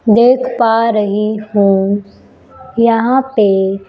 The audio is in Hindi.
देख पा रही हूं यहां पे।